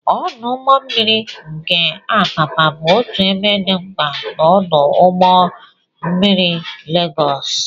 Ọdụ ụgbọ mmiri nke Apapa bụ otu ebe dị mkpa na ọdụ ụgbọ mmiri Legos.